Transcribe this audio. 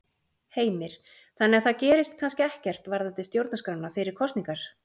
Heimir: Þannig að það gerist kannski ekkert varðandi stjórnarskrána fyrir kosningar?